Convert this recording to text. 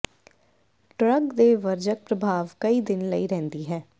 drug ਦੇ ਵਰਜਕ ਪ੍ਰਭਾਵ ਕਈ ਦਿਨ ਲਈ ਰਹਿੰਦੀ ਹੈ